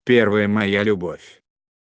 первая моя любовь